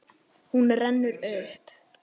Hún rennur upp.